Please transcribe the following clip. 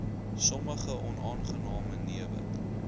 sommige onaangename newe